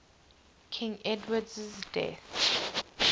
king edward's death